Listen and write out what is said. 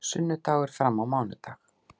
Sunnudagur fram á mánudag